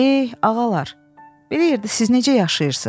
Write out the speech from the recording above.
Eh, ağalar, belə yerdə siz necə yaşayırsız?